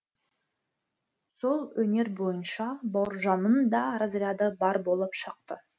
сол өнер бойынша бауыржанның да разряды бар болып шықты